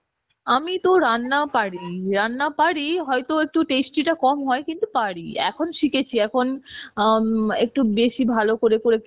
আমি তো রান্না পারি, রান্না পারি কিন্তু হয়তো tasty টা একটু কম হয় কিন্তু পারি এখন শিখেছি এখন আম একটু বেশি ভালো করে করে